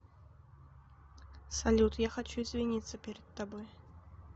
салют я хочу извиниться перед тобой